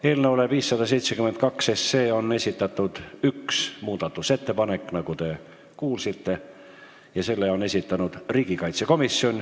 Eelnõule 572 on esitatud üks muudatusettepanek, nagu te kuulsite, ja selle on teinud riigikaitsekomisjon.